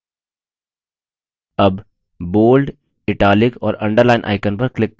अब bold italics और underline icons पर click करें